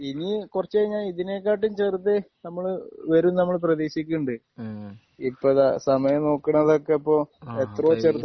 ഇനി കുറച്ചു കഴിഞ്ഞാൽ ഇതിനെക്കാട്ടിലും ചെറുത് നമ്മള് വരും ന്ന് നമ്മള് പ്രതീക്ഷിക്കുന്നുണ്ട്. ഹ്മ് ഇപ്പൊ ഇതാ സമയം നോക്കുന്നത് ഒക്കെ ഇപ്പൊ ആഹ് എത്രയോ ചെറുതായി